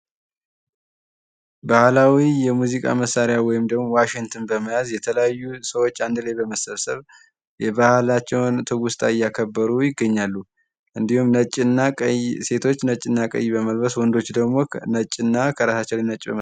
ባህላዊ የሙዚቃ መሳሪያ ወይም ደግሞ የዋሽንትን በመያዝ የተለያዩ ሰዎች አንድ ላይ በመሰብሰብ የባህላቸውን ትውስታ እያከበሩ ይገኛሉ። እንድሁም ነጭና ቀይ ሴቶች ነጭና ቀይ በመልበስ ወንዶቹ ደግሞ ነጭና ከራሳቸው ላይ ነጭ።